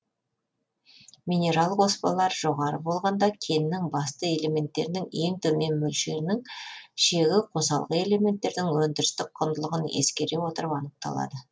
минерал қоспалар жоғары болғанда кеннің басты элементтерінің ең төмен мөлшерінің шегі қосалқы элементтердің өндірістік құндылығын ескере отырып анықталады